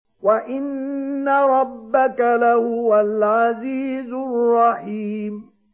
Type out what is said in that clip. وَإِنَّ رَبَّكَ لَهُوَ الْعَزِيزُ الرَّحِيمُ